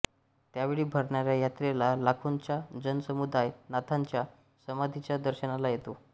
त्यावेळी भरणाऱ्या यात्रेला लाखोंचा जनसमुदाय नाथांच्या समाधीच्या दर्शनाला येतो